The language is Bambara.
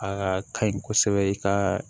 Aa ka ɲi kosɛbɛ i ka